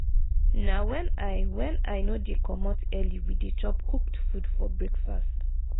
na wen i wen i no dey comot early we dey chop cooked food for breakfast.